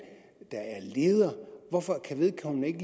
der er leder hvorfor kan vedkommende ikke